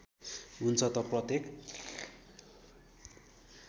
हुन्छ त प्रत्येक